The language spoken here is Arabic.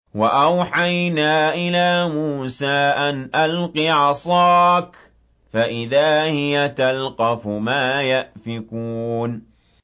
۞ وَأَوْحَيْنَا إِلَىٰ مُوسَىٰ أَنْ أَلْقِ عَصَاكَ ۖ فَإِذَا هِيَ تَلْقَفُ مَا يَأْفِكُونَ